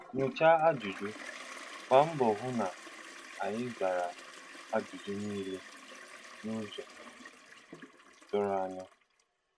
Nyoocha Ajụjụ: Gbaa mbọ hụ na ị zara ajụjụ niile n’ụzọ doro anya.